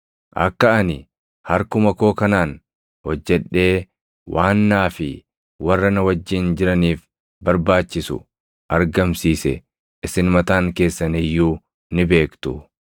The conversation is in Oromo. Akka ani harkuma koo kanaan hojjedhee waan naa fi warra na wajjin jiraniif barbaachisu argamsiise isin mataan keessan iyyuu ni beektu.